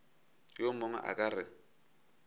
yo mongwe a ka re